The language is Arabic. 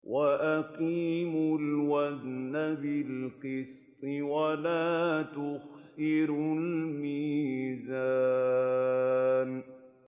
وَأَقِيمُوا الْوَزْنَ بِالْقِسْطِ وَلَا تُخْسِرُوا الْمِيزَانَ